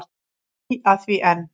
Ég bý að því enn.